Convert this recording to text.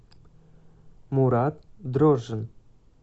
мурат дрожжин